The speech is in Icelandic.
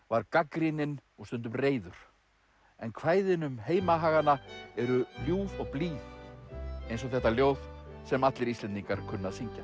var gagnrýninn og stundum reiður en kvæðin um heimahagana eru ljúf og blíð eins og þetta ljóð sem allir Íslendingar kunna að syngja